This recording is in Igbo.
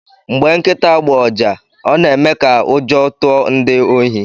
Mgbe nkịta gbụọ ụja ọ na-eme ka ụjọ tụọ ndị ohi.